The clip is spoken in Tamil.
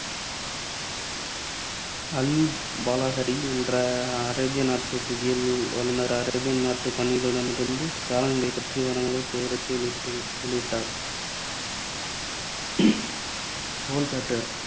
அல் பாலஹரி என்ற அரேபிய நாட்டு புவியியல் வல்லுநர் அரேபியாநாட்டு பயணிகளிடமிருந்து காலநிலைப் பற்றிய விவரங்களைச் சேகரித்து வெளியிட்டு வெளியிட்டார். கோள் காற்றுகள்